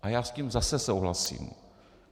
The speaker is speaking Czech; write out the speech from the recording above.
A já s tím zase souhlasím.